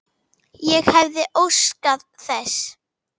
Ég hefði óskað þess.